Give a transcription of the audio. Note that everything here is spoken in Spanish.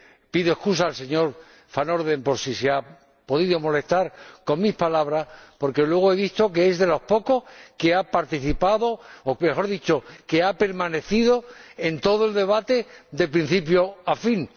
pido excusas al señor Van Orden por si le han podido molestar mis palabras, porque luego he visto que es de los pocos que ha participado o, mejor dicho, que ha permanecido en todo el debate, de principio a fin.